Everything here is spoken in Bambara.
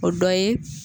O dɔ ye